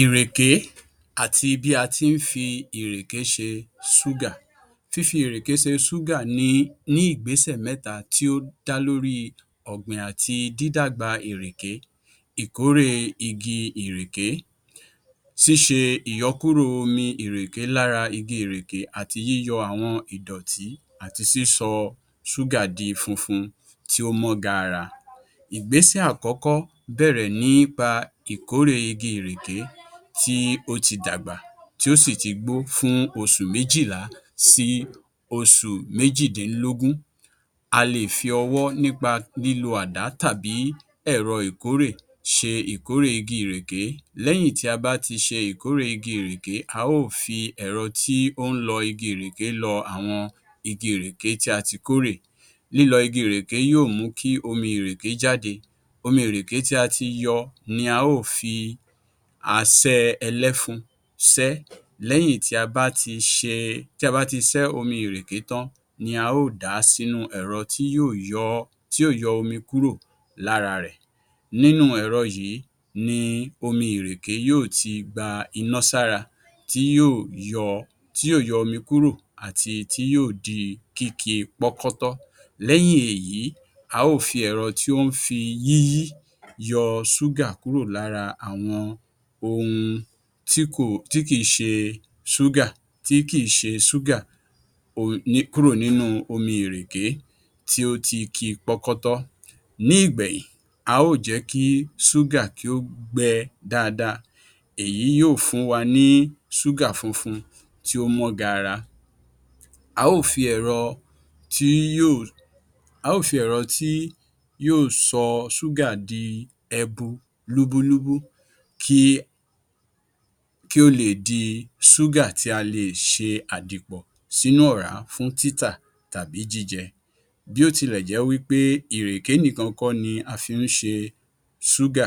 Ìrèké àti bí a ti ń fi ìrèké ṣe ṣúgà Fífi ìrèkè ṣe ṣúgà ni ní ìgbésẹ̀ mẹ́ta tí ó dá lórí ọ̀gbìn àti dídàgbà ìrèké, ìkórè igi ìrèké, ṣíṣe ìyọkúrò omi lára igi ìrèké àti yíyọ àwọn ìdọ̀tí àti sísọ ṣúgà di funfun tí ó mọ́ gààrà. Ìgbésẹ̀ àkókó bẹ̀rẹ̀ nípa ìkórè igi ìrèké tí ó ti dàgbà tí ó sì ti gbó fún oṣù méjìlá sí oṣù méjìdínlógún. A lè fi ọwọ́ nípa lílo àdá tàbí ẹ̀rọ ìkórè ṣe ìkórè igi ìrèké. Lẹ́yìn tí a bá ti ṣe ìkórè igi ìrèké, a ó fi ẹ̀rọ tí ó ń lọ igi ìrèké lọ àwọn igi ìrèké tí a ti kórè. Lílo igi ìrèké yóò mú kí omi ìrèké jáde. Omi ìrèké tí a ti yọ́ ni a ó fi asẹ́ ẹlẹ́fun sẹ́. Lẹ́yìn tí a bá ti ṣe tí a bá ti sẹ́ omi ìrèké tán, ni a ó dàá sínú ẹ̀rọ tí yóò yọ tí yóò yọ́ omi kúrò lára rẹ̀. Nínú ẹ̀rọ yìí ni omi ìrèké yóò ti gba iná sára tí yóò yọ tí yóò yọ́mi kúrò àti tí yóò di kíki pọ́kọ́tọ́. Lẹ́yìn èyí a ó fi ẹ̀rọ tó ń fi yíyí yọ ṣúgà kúrò lára àwọn ohun tí kò tí kìí ṣe ṣúgà tí kìí ṣe ṣúgà kúrò nínú omi ìrèké tí ó ti ki pọ́kọ́tọ́. Ní ìgbẹ̀yìn, a ó jẹ́ kí ṣúgà kí ó gbẹ dáadáa. Èyí yóò fún wa ní ṣúgà funfun tí ó mọ́ gaara. A ó fi ẹ̀rọ tí yóò a ó fi ẹ̀rọ tí yóò sọ ṣúgà di ẹbu lúbúlúbú ki kí ó leè di ṣúgà tí a lè ṣe àdìpọ̀ sínú ọ̀rá fún títà tàbí jíjẹ. Bí ó tilẹ̀ jẹ́ wípé ìrèké nìkan kọ́ ní a fi ń ṣe ṣúgà,